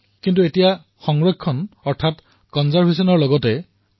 কিন্তু এতিয়া আমি সংৰক্ষণৰ ঊৰ্ধলৈ গৈ সহানুভূতিশীলতাৰো কথা চিন্তা কৰিব লাগিব